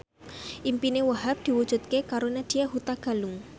impine Wahhab diwujudke karo Nadya Hutagalung